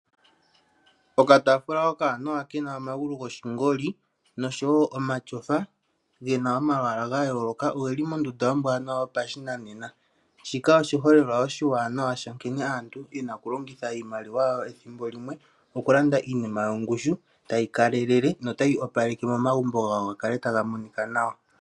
Okataafula okawanawa kena omagulu goshingoli noshowo omatyofa gena omalwaala ga yooloka ogeli mondunda ombwanawa yopashinanena. Shika oshiholelwa oshiwanawa nkene aantu yena okulongitha iimaliwa yawo ethimbo limwe mokulanda iinima yina ongushu no tayi kalele notayi opaleke momagumbo gawo gakale taga monika nawa.